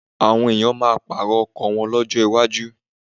Àwọn ènìyàn máa pààrọ̀ ọkọ̀ wọn lọ́jọ́ iwájú.